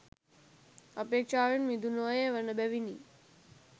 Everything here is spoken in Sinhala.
අපේක්ෂාවෙන් මිදුණු අය වන බැවිනි.